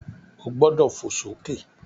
O gbọ́dọ̀ fò sókè!